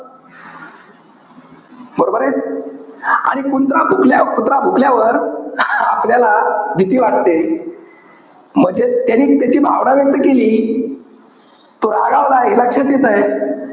बरोबरे? आणि कुंत्रा भुकल्यावर~ कुत्रा भुकल्यावर आपल्याला भीती वाटते. म्हणजे त्यांनी त्याची भावना व्यक्त केली. तो रागावला, हे लक्षात येतंय.